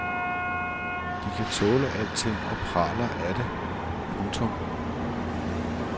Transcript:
De kan tåle alting og praler af det. punktum